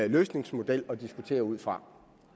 løsningsmodel at diskutere ud fra